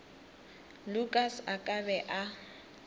lukas a ka be a